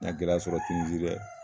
N ye gɛlɛya sɔrɔ tinizi dɛ